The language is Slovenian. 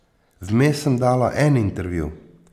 Vmes sem dala en intervju.